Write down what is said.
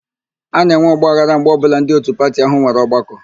A na-enwe ọgbaghara mgbe ọbụla ndị òtù pati áhụ̀ nwere ọgbakọ.